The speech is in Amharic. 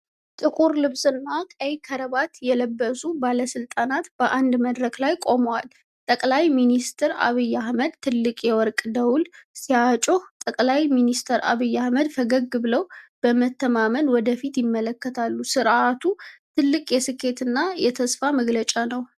ጥቁር ልብስና ቀይ ክራባት የለበሱ ባለስልጣናት በአንድ መድረክ ላይ ቆመዋል። ጠቅላይ ሚኒስትር ዐብይ አህመድ ትልቅ የወርቅ ደውል ሲያጮህ፣ ጠቅላይ ሚኒስትር ዐብይ አህመድ ፈገግ ብለው በመተማመን ወደ ፊት ይመለከታሉ። ሥርዓቱ ትልቅ የስኬትና የተስፋ መግለጫ ነው።